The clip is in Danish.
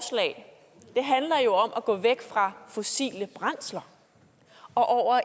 det handler jo om at gå væk fra fossile brændsler og